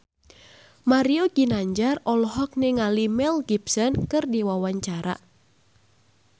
Mario Ginanjar olohok ningali Mel Gibson keur diwawancara